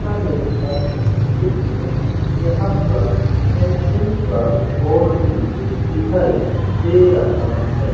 यहां पर सैंसुइ का बोर्ड भी दिखाई दे रहा है।